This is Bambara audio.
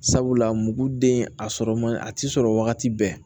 Sabula muguden a sɔrɔ man a tɛ sɔrɔ wagati bɛɛ